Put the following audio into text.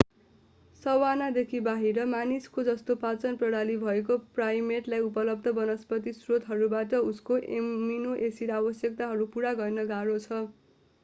savanna देखि बाहिर मानिसको जस्तो पाचन प्रणाली भएको प्राइमेटलाई उपलब्ध वनस्पति स्रोतहरूबाट उसको एमिनो-एसिड आवश्यकताहरू पूरा गर्न गाह्रो छ